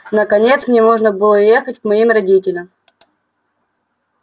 наконец мне можно было ехать к моим родителям